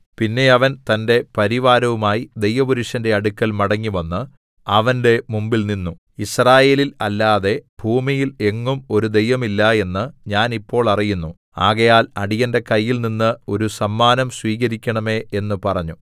പിന്നെ അവൻ തന്റെ പരിവാരവുമായി ദൈവപുരുഷന്റെ അടുക്കൽ മടങ്ങിവന്ന് അവന്റെ മുമ്പിൽനിന്നു യിസ്രായേലിൽ അല്ലാതെ ഭൂമിയിൽ എങ്ങും ഒരു ദൈവം ഇല്ല എന്ന് ഞാൻ ഇപ്പോൾ അറിയുന്നു ആകയാൽ അടിയന്റെ കയ്യിൽ നിന്നു ഒരു സമ്മാനം സ്വീകരിക്കണമേ എന്ന് പറഞ്ഞു